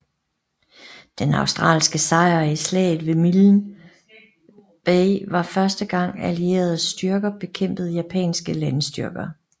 Den australske sejr i slaget ved Milne Bay var første gang allierede styrker bekæmpede japanske landstyrker